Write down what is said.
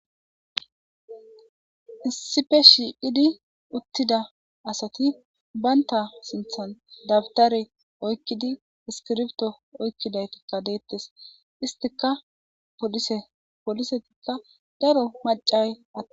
Sipe shi idi uttida asati baynta sinthan dabdare oykkidi iskirbto oykkidaytikka deettes istika polisetikka daro macay atte